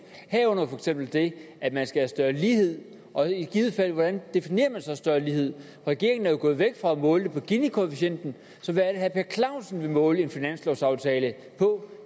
herunder for eksempel det at man skal have større lighed og hvordan definerer man så større lighed regeringen er jo gået væk fra at måle den på ginikoefficienten så hvad er per clausen vil måle en finanslovsaftale på